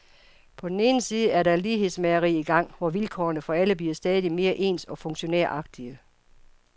På den ene side er der et lighedsmageri i gang, hvor vilkårene for alle bliver stadig mere ens og funktionæragtige.